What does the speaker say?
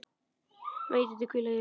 Megi Dídí hvíla í friði.